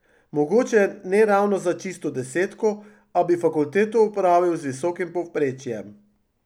Mogoče ne ravno za čisto desetko, a bi fakulteto opravil z visokim povprečjem.